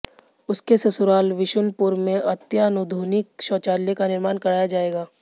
उसके ससुराल विशुनपुर में अत्याधुनिक शौचालय का निर्माण कराया जाएगा